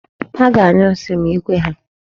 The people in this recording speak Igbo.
Ha ga-anyụ nsi ma ikwe ha.